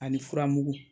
Ani furamugu